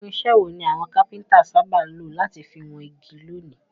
Irinsẹ́ wo ni àwon carpenter sábà lo láti fi won igi lónìí?